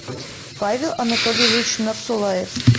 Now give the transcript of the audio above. павел анатольевич нарзуллаев